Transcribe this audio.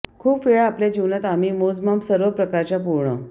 खूप वेळा आपल्या जीवनात आम्ही मोजमाप सर्व प्रकारच्या पूर्ण